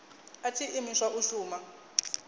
a tshi imiswa u shuma